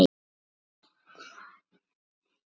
Mörgu þurfti að sinna.